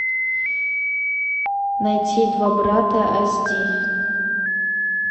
найти два брата ас ди